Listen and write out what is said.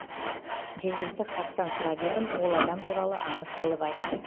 жергілікті халықтан сұрап едім ол адам туралы аңыз қылып айтты